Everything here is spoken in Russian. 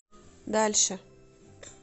дальше